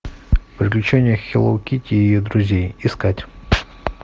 приключения хелло китти и ее друзей искать